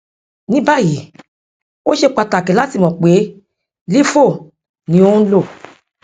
ni báyìí ó ṣe pàtàkì láti mọ pé lifo ni ò ń lò